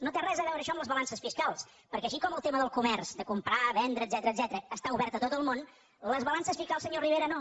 no té res a veure això amb les balances fiscals perquè així com el tema del comerç de comprar vendre etcètera està obert a tot el món les balances fiscals senyor rivera no